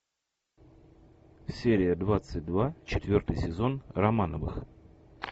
серия двадцать два четвертый сезон романовых